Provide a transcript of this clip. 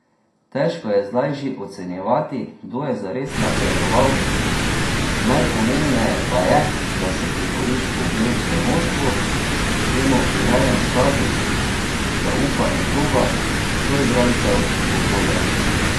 Težko je zdaj že ocenjevati, kdo je zares napredoval, najpomembneje pa je, da si priboriš ugled v moštvu, temu primeren status, zaupanje kluba, soigralcev, okolja.